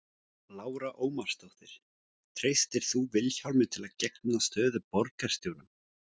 Lára Ómarsdóttir: Treystir þú Vilhjálmi til að gegna stöðu borgarstjóra?